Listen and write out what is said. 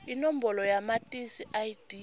inombolo yamatisi id